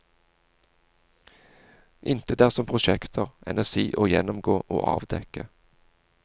Intet er som prosjekter, enn si å gjennomgå og avdekke.